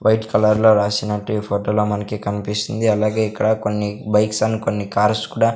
White colour లో రాసినట్టు ఈ ఫోటోలో మనకి కనిపిస్తుంది అలాగే ఇక్కడ కొన్ని బైక్స్ అండ్ కొన్ని కార్స్ కూడా.